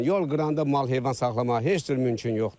Yol qırağında mal-heyvan saxlamağa heç cür mümkün yoxdur.